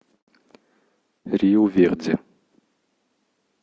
риу верди